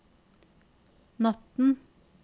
natten